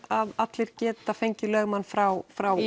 allir geta fengið lögmann frá frá